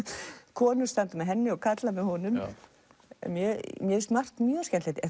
konur standa með henni og karlar með honum mér finnst margt mjög skemmtilegt